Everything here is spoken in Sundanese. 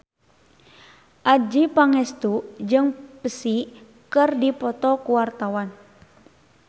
Adjie Pangestu jeung Psy keur dipoto ku wartawan